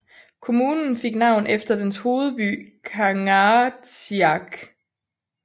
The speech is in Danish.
Kommunen fik navn efter dens hovedby Kangaatsiaq